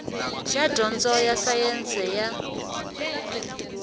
xa dyondzo ya sayense ya